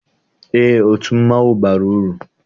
Eé, otu mmanwụ bara uru.